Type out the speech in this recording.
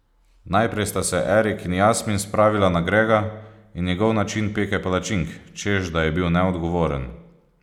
Najprej sta se Erik in Jasmin spravila na Grega in njegov način peke palačink, češ, da je bil neodgovoren.